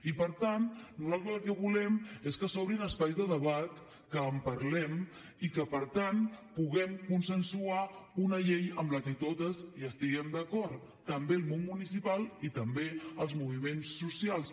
i per tant nosaltres el que volem és que s’obrin espais de debat que en parlem i que per tant puguem consensuar una llei amb la que totes hi estiguem d’acord també el món municipal i també els moviments socials